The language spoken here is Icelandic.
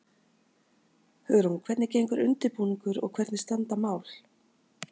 Hugrún, hvernig gengur undirbúningur og hvernig standa mál?